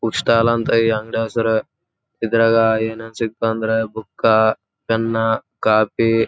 ಇಲ್ಲಿ ಒಂದು computer centre ಇದೆ.